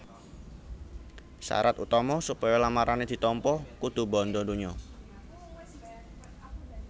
Sarat utama supaya lamarané ditampa dudu bandha donya